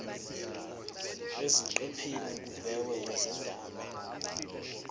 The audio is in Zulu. eziqephini kubhekwe izindaba